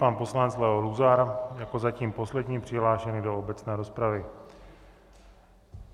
Pan poslanec Leo Luzar jako zatím poslední přihlášený do obecné rozpravy.